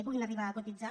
puguin arribar a cotitzar